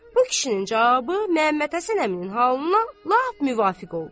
Bu kişinin cavabı Məmmədhəsən əminin halına lap müvafiq oldu.